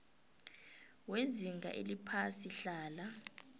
wezinga eliphasi hlala